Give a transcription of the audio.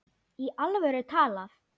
Í alvöru talað.